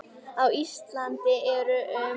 Á Íslandi eru um